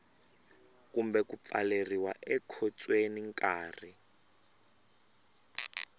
kumbe ku pfaleriwa ekhotsweni nkarhi